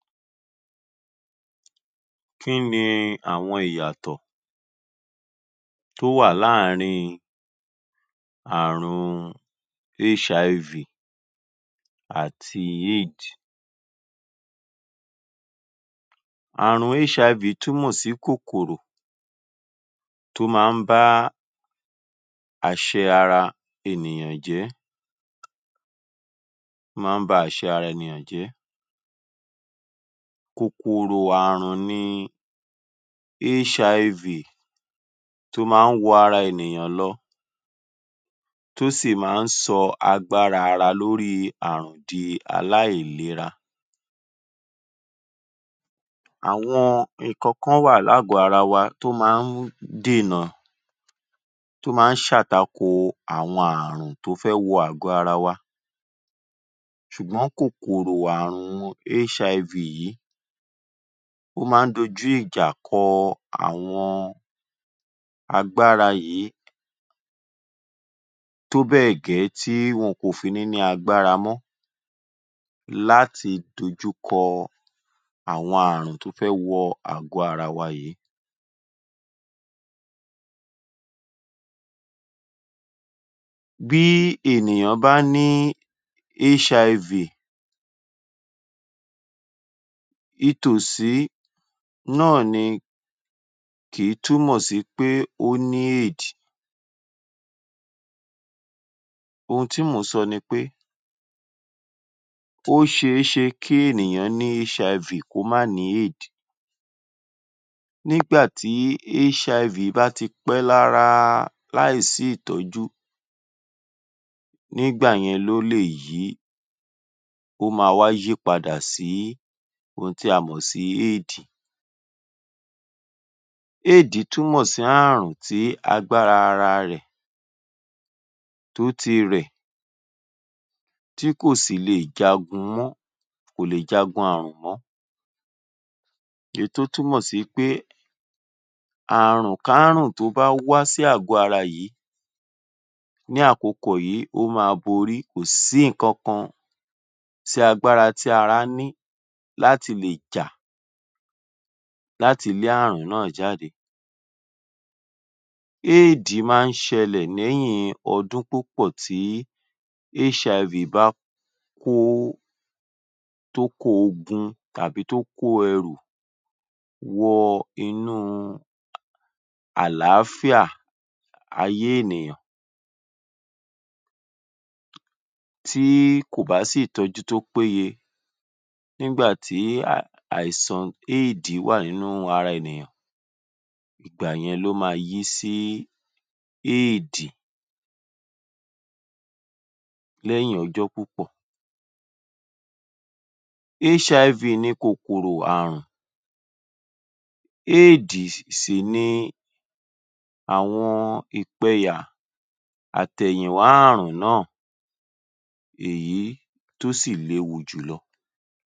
Kí ni àwọn ìyàtọ̀ tó wà láàrín ààrùn HIV àti AIDS ààrùn HIV túnmọ̀ sí kòkòrò tó máa ń bá àṣẹ ara ènìyàn jẹ́ tó máa ń ba àṣẹ ara ènìyàn jẹ́. Kòkòrò ààrùn ni HIV tó máa ń wọ ara ènìyàn lọ tó sì máa ń sọ agbára ara lórí ààrùn di aláìlera. Àwọn nǹkankan wà lágọ̀ọ́ ara wa tó máa ń dènà tó máa ń ṣàtakò àwọn ààrùn tó fẹ́ wọ àgbò ara wa ṣùgbọ́n kòkòrò ààrùn HIV yìí ó máa ń dojú ìjà kọ àwọn agbára yìí tó bẹ́ẹ̀ gẹ́ tí wọn kò fi ní ní agbára mọ́ láti dojúkọ àwọn ààrùn tó fẹ́ wọ àgọ ara wa yìí. Bí ènìyàn bá ní HIV itòsí náà ni kì í túnmọ̀ sí pé ó ní AIDS ohun tí mò ń sọ ni pé ó ṣe é ṣe kí ènìyàn ní HIV kó má ní AIDS nígbà tí HIV bá ti pẹ́ lára láì sí ìtọ́jú nígbà yẹn ló lè yí, ó máa wá yípadà sí ohun tí a mọ̀ sí Aids AID túnmọ̀ sí ohun tí agbára ara rẹ̀ tó ti rẹ̀ tí kò sì le è jagun mọ́ kò lè jagun ààrùn mọ́. Èyí tó túmọ̀ sí pé àrunkárùn tó bá wá sí àgbò ara yìí ní akòkò yìí ó máa borí kò sí nǹkankan tí agbára tí ará ní láti lè jà láti lé ààrùn náà jáde. AIDS máa ń ṣẹlẹ̀ lẹ́yìn ọdún púpọ̀ tí HIV bá kó tó kó ogun tàbí tó kó ẹrù wọ inú àláfíà ayé ènìyàn tí kò bá sí ìtọ́jú tó péye nígbà tí àìsàn AIDS wà nínú ara ènìyàn ìgbà yẹn ló máa yí sí AIDS lẹ́yìn ọjọ́ púpọ̀. HIV ni kòkòrò ààrùn AIDS sì ni àwọn ìpẹyà àtẹ̀yìnwá ààrùn náà èyí tó sì léwu jùlọ.